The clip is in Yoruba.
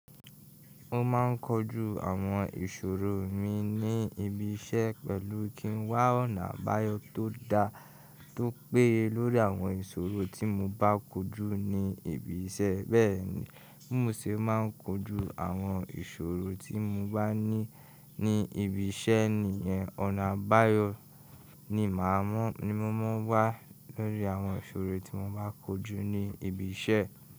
Ó máa ń kojú àwọn ìṣòro mi ní ibi iṣẹ́ pẹ̀lú kí ń wá ọ̀nà àbáyọ tó dá tó péye lórí àwọn ìṣòro tí mo bá kojú ní ibi iṣẹ́. Bẹ́ẹ̀ni, bi mo ṣe máa ń kojú àwọn ìṣòro tí mo bá ní ni ibi iṣẹ́ nìyẹn, ọ̀nà àbáyọ ní mo máa wá lórí àwọn ìṣòro tí mo bá kojú ní ibi iṣẹ́.